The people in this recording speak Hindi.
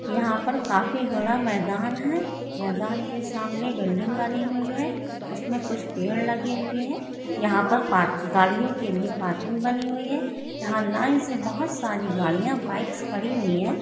यहाँ पर काफी बड़ा मैदान है मैदान के सामने बिल्डिंग बनी हुई है उसमे कुछ पेड़ लगे हुए है यहाँ पर पार्क गाड़ियो के लिए पार्किंग बनी हुई है यहाँ लाइन से बहुत सारी गड़िया बाइक्स खड़ी हुई है।